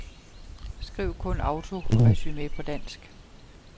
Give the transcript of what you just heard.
Skriv kun autoresumé på dansk.